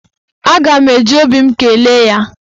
Aga m eji obi m kelee ya.